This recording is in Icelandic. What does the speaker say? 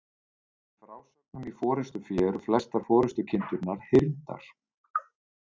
Í frásögnum í Forystufé eru flestar forystukindurnar hyrndar.